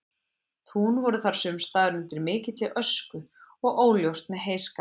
Tún voru þar sumstaðar undir mikilli ösku og óljóst með heyskap.